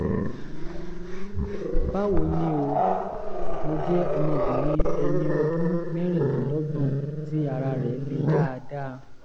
báwo ni o? mo jẹ́ ọmọbìnrin ẹni ọdún mẹ́rìnlélọ́gbọ̀n tí ara rẹ̀ le dáadáa